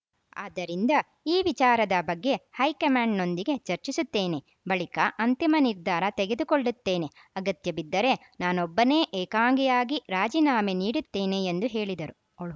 ಆದ್ದರಿಂದ ಈ ವಿಚಾರದ ಬಗ್ಗೆ ಹೈಕಮಾಂಡ್‌ನೊಂದಿಗೆ ಚರ್ಚಿಸುತ್ತೇನೆ ಬಳಿಕ ಅಂತಿಮ ನಿರ್ಧಾರ ತೆಗೆದುಕೊಳ್ಳುತ್ತೇನೆ ಅಗತ್ಯ ಬಿದ್ದರೆ ನಾನೊಬ್ಬನೇ ಏಕಾಂಗಿಯಾಗಿ ರಾಜೀನಾಮೆ ನೀಡುತ್ತೇನೆ ಎಂದು ಹೇಳಿದರು